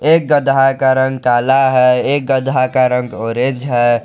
एक गदहा का रंग काला है एक गदहा का रंग ऑरेंज है।